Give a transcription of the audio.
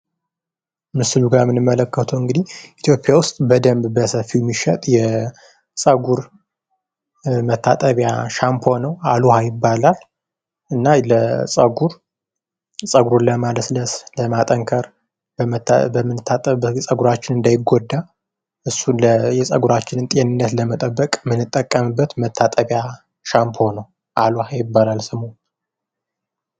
ምስሉ ጋ የምንመለከተዉ እንግዲህ ኢትዮጵያ ዉስጥ በደንብ በሰፊዉ የሚሸጠዉ የፀጉር መታጠቢያ ሻምፖ ነዉ። አልዉኃ ይባላል። እና ለፀጉለር ፀጉር ለማለስለስ፣ ለማጠንከር በምንታጠብበት ጊዜ ፀጉር እንዳይጎዳ የምንታጠብበት ሻምፖ ነዉ። "አልዉኃ" ይባላል ስሙ።